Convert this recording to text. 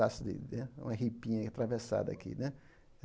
uma ripinha atravessada aqui né.